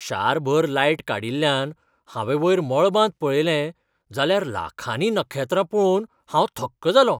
शारभर light काडिल्ल्यान हांवें वयर मळबांत पळयलें जाल्यार लाखांनी नखेत्रां पळोवन हांव थक्क जालों.